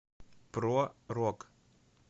про рок